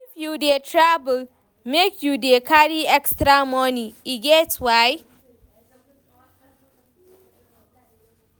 If you dey travel, make you dey carry extra moni, e get why.